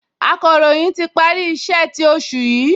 Akọ̀ròyìn ti parí iṣẹ́ ti oṣù yìí